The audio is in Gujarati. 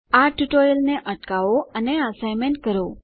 આ ટ્યુટોરીયલને અટકાવો અને એસાઇનમેંટ કરો